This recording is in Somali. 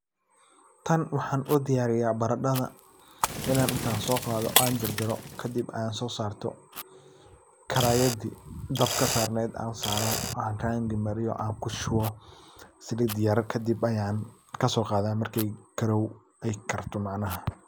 Tan waxan udiyariya baradadha, inan intan soqado an jarjaro kadib an sosarto, karayadi dabki sarnedh an saro, an rangi mariyo an kushuwo, salit yar kadib ayan kasoqada marki ay karto macnaha.